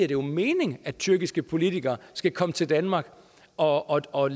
jo mening at tyrkiske politikere skal komme til danmark og og